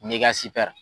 N'i ka sitɛri